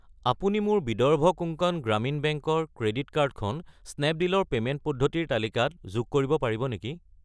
আপুনি মোৰ বিদৰ্ভ কোংকণ গ্ৰামীণ বেংক ৰ ক্ৰেডিট কাৰ্ড খন স্নেপডীল ৰ পে'মেণ্ট পদ্ধতিৰ তালিকাত যোগ কৰিব পাৰিব নেকি?